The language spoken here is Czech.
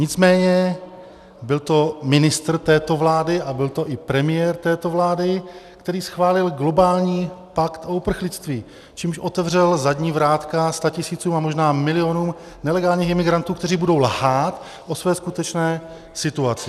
Nicméně byl to ministr této vlády a byl to i premiér této vlády, který schválil globální pakt o uprchlictví, čímž otevřel zadní vrátka statisícům a možná milionům nelegálních imigrantů, kteří budou lhát o své skutečné situaci.